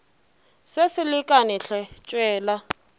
se se lekane hle tšwela